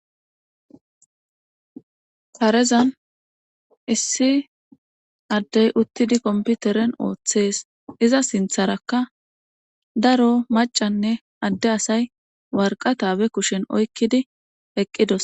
Karezan issi addey uttidi komppiteren oothees iza sintharakka daro macca asay waraqata be kushen oykkidi eqqidosona.